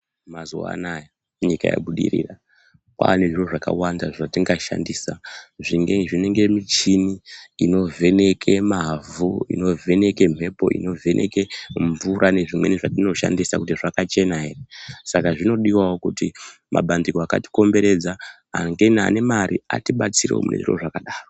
Mazuwa anaya nyika yabudirira kwaane zviro zvakawanda zvetingashandisa zvinenge michini inovheneke mavhu, inovheneke mhepo, mvura nezvimweni zvetinoshandisa kuti zvakachena ere saka zvinodiwawo kuti mabandiko akatikomberedza ane mare atibetserewo munezviro zvakadaro.